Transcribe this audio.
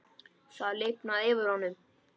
Það lifnaði yfir honum.